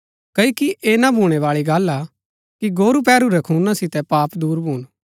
क्ओकि ऐह ना भूणैबाळी गल्ल हा कि गोरू पैहरू रै खूना सितै पाप दूर भून